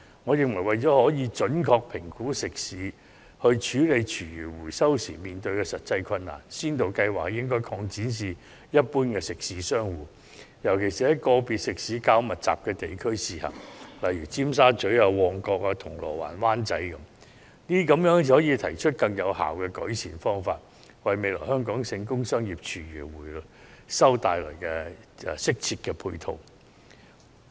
我認為，為了準確評估食肆處理廚餘回收時面對的實際困難，先導計劃應該擴展至一般食肆商戶，尤其在食肆較密集的地區試行，例如尖沙咀、旺角、銅鑼灣、灣仔等，這樣才有助制訂更有效的改善方法，為未來在全港推行工商業廚餘回收提供適切的配套。